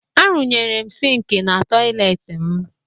Arụnyere m sịịnkị na tọyịleetị m